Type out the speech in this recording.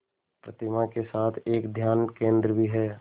प्रतिमा के साथ ही एक ध्यान केंद्र भी है